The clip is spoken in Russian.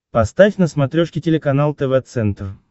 поставь на смотрешке телеканал тв центр